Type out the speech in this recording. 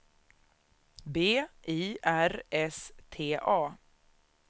B I R S T A